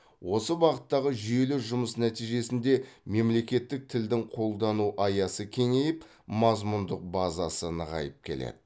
осы бағыттағы жүйелі жұмыс нәтижесінде мемлекеттік тілдің қолдану аясы кеңейіп мазмұндық базасы нығайып келеді